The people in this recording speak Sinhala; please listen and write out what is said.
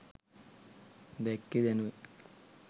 දැක්කේ දැනුයි.